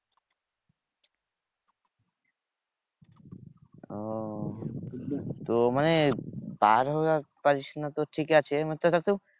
ওহ তো মানে বার হওয়া পারিস না তো ঠিকাছে